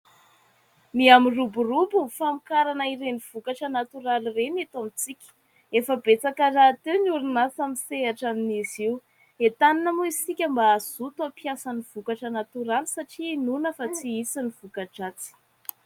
Mihamiroborobo ny famokarana ireny vokatra natoraly ireny eto amintsika. Efa betsaka rahateo ny orinasa misehatra amin'izy io. Entanina moa isika mba hazoto ampiasa ny vokatra natoraly satria inoana fa tsy hisy ny voka-dratsy.